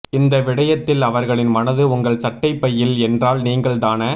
இந்த விடயத்தில் அவர்களின் மனது உங்கள் சட்டை பையில் என்றால் நீங்கள் தான